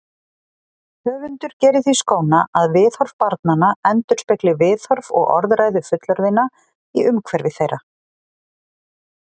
Höfundur gerir því skóna að viðhorf barnanna endurspegli viðhorf og orðræðu fullorðinna í umhverfi þeirra.